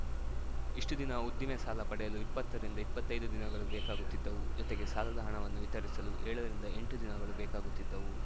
ಇಷ್ಟುದಿನ ಉದ್ದಿಮೆ ಸಾಲ ಪಡೆಯಲು ಇಪ್ಪತ್ತ ರಿಂದ ಇಪ್ಪತ್ತೈದು ದಿನಗಳು ಬೇಕಾಗುತ್ತಿದ್ದವು ಜೊತೆಗೆ ಸಾಲದ ಹಣವನ್ನು ವಿತರಿಸಲು ಏಳ ರಿಂದ ಎಂಟು ದಿನಗಳು ಬೇಕಾಗುತ್ತಿದ್ದವು